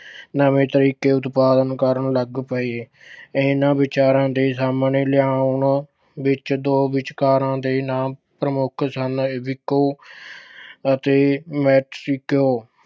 ਨਵੇਂ ਤਰੀਕੇ ਉਤਪਾਦਨ ਕਰਨ ਲੱਗ ਪਏ। ਇਨ੍ਹਾਂ ਵਿਚਾਰਾਂ ਦੇ ਸਾਹਮਣੇ ਲਿਆਉਣ ਵਿੱਚ ਦੋ ਵਿਚਾਰਕਾਂ ਦੇੇ ਨਾਮ ਪ੍ਰਮੁੱਖ ਸਨ, ਵਿੱਕੋ ਅਤੇ Mexico